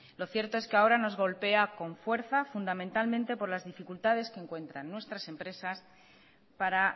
lo cierto es que ahora nos golpea con fuerza fundamentalmente por las dificultades que encuentran nuestras empresas para